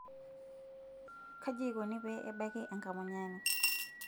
kaji ikoni pee ebaki enkamunyani?